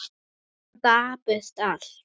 Svo dapurt allt.